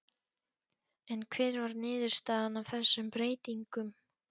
En hver var niðurstaðan af þessum breytingum?